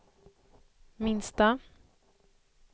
minsta